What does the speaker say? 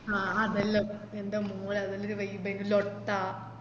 ആഹ് അതേല്ലോം ൻറെ മോനെ അതെന്തൊരു വെലുപ്പെനു ലോട്ട